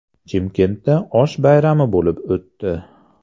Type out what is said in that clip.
Chimkentda osh bayrami bo‘lib o‘tdi.